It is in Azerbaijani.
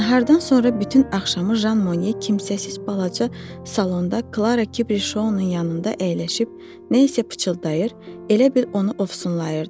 Nahardan sonra bütün axşamı Jan Moye kimsəsiz balaca salonda Klara Kişounun yanında əyləşib nə isə pıçıldayır, elə bil onu ofsunlayırdı.